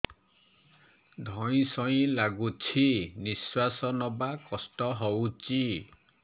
ଧଇଁ ସଇଁ ଲାଗୁଛି ନିଃଶ୍ୱାସ ନବା କଷ୍ଟ ହଉଚି